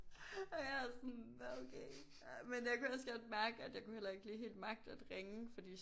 Og jeg er sådan hvad okay men jeg kunne også godt mærke at jeg kunne ikke helt magte at ringe fordi